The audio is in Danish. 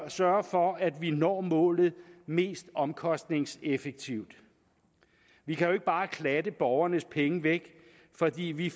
at sørge for at vi når målet mest omkostningseffektivt vi kan jo ikke bare klatte borgernes penge væk fordi vi